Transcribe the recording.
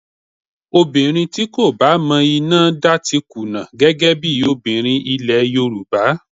Obìnrin tí kò bá mọ iná dá ti kùnà gẹ́gẹ́ bí obìnrin nílẹ̀ Yorùbá